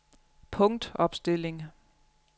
punktopstilling